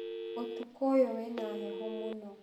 ũtukũ ũyũ wĩna heho mũno.